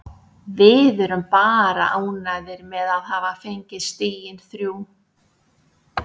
Við erum bara ánægðir með að hafa fengið stigin þrjú.